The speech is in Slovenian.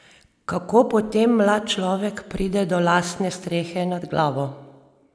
Kako potem mlad človek pride do lastne strehe nad glavo?